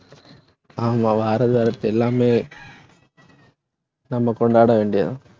ஆமா, வரது வரட்டும் அரசு எல்லாமே நம்ம கொண்டாட வேண்டியதுதான்